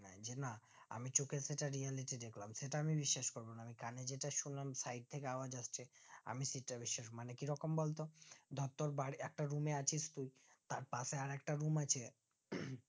যে গুলা আমি চোখের সাথে reality দেখলাম সেটা আমি বিশ্বাস করবো না আমি কানে জেটা শুনলাম side থেকে আওয়াজ আসছে আমি সেটা বিশ্বাস মানে কি রকম বলতো ধরে তোর বাড়ির একটা room এ আছিস তুই তার পশে আর একটা room আছে